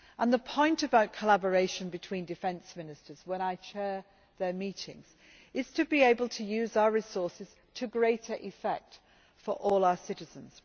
The point about collaboration between defence ministers, when I chair their meetings, is to be able to use our resources to greater effect for all our citizens.